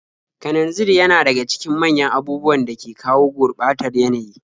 Kananzir yana daga cikin manyan abubuwan da ke kawo gurɓatar yanayi.